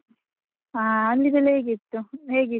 ಹಾ ಅಲ್ಲಿದೆಲ್ಲ ಹೇಗಿತ್ತು? .